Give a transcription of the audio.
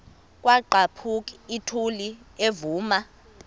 kwaqhaphuk uthuli evuma